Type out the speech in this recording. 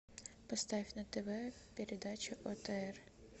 поставь на тв передачу отр